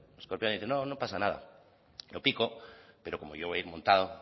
el escorpión le dice no no pasa nada yo pico pero como yo voy a ir montado